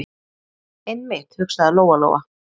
Einmitt, hugsaði Lóa- Lóa.